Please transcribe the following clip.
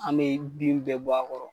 An bɛ den bɛɛ bɔ a kɔrɔ